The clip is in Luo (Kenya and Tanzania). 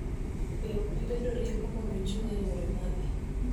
Be ok bibedo rieko mondo ochung� e yore mage